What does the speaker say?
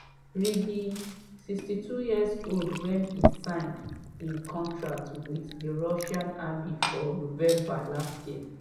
r be 62 years old wen e sign im contract with di russian army for november last year.